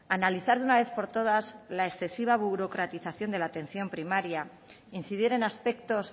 analizar de una vez por todas la excesiva burocratización de la atención primaria incidir en aspectos